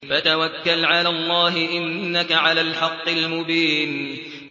فَتَوَكَّلْ عَلَى اللَّهِ ۖ إِنَّكَ عَلَى الْحَقِّ الْمُبِينِ